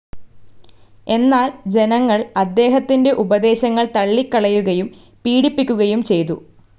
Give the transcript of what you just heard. എന്നാൽ ജനങ്ങൾ അദ്ദേഹത്തിൻ്റെ ഉപദേശങ്ങൾ തള്ളിക്കളയുകയും പീഡിപ്പിക്കുകയും ചെയ്തു..